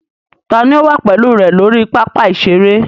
Ta ni ó wà pẹ̀lú rẹ lórí pápá ìṣeré?